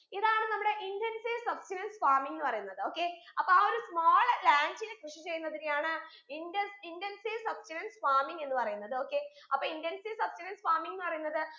ഇതാണ് നമ്മുടെ intensive substenance farming എന്ന് പറയുന്നത് okay അപ്പൊ ആ ഒരു small land ൽ കൃഷി ചെയ്യുന്നതിനെയാണ് indus intensive substenance farming എന്ന് പറയുന്നത് okay അപ്പൊ intensive substenance farming എന്ന് പറയുന്നത്